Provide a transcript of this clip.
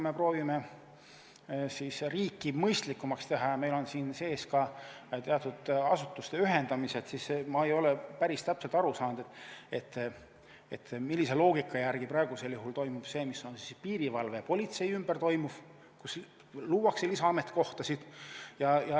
Me proovime riiki mõistlikumaks teha ja meil on siin sees ka teatud asutuste ühendamised, aga ma ei ole päris täpselt aru saanud, milline loogika on praegu selles, mis toimub piirivalve ja politsei ümber, kus luuakse lisaametikohtasid.